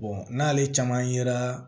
n'ale caman yera